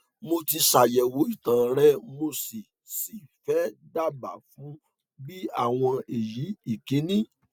mo ti ṣàyẹwò ìtàn rẹ mo sì sì fẹ daàbá fun bi awon eyi ikini